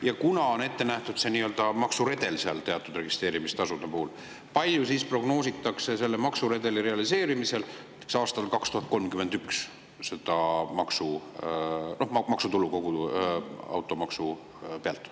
Ja kuna on ette nähtud see nii-öelda maksuredel teatud registreerimistasude puhul, siis kui palju prognoositakse selle maksuredeli realiseerimisel näiteks aastal 2031 maksutulu tänu kogu sellele automaksule?